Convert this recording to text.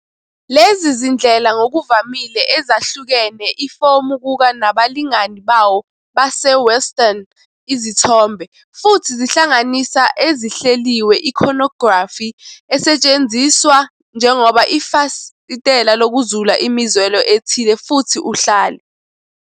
Lezi zindlela ngokuvamile ezahlukene ifomu kuka nabalingani bawo base-Western izithombe, futhi zihlanganisa ezihleliwe iconography esetshenziswa njengoba ifasitela lokuzula imizwelo ethile futhi uhlale.